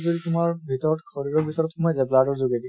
যদি তোমাৰ ভিতৰত শৰীৰৰ ভিতৰত সোমাই যায় blood ৰ যোগেদি